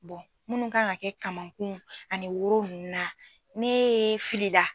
munnu kan ka kɛ kamankun ani woro ninnu na ne e filila